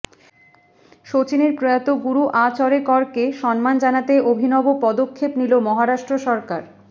সচিনের প্রয়াত গুরু আচরেকরকে সম্মান জানাতে অভিনব পদক্ষেপ নিল মহারাষ্ট্র সরকার